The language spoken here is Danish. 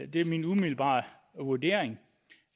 det er min umiddelbare vurdering